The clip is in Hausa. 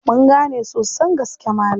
Mun gane sosan gaske Malam.